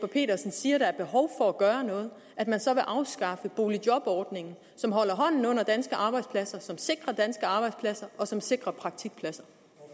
petersen siger der er behov for at gøre noget at man så vil afskaffe boligjobordningen som holder hånden under danske arbejdspladser som sikrer danske arbejdspladser og som sikrer praktikpladser